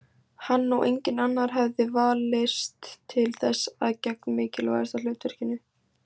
Hann og enginn annar hefði valist til þess að gegna mikilvægasta hlutverkinu.